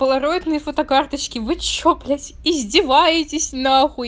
полароидные фотокарточки вы что блять издеваетесь нахуй